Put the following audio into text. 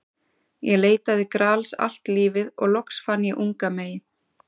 Ég leitaði Grals allt lífið og loks fann ég unga mey.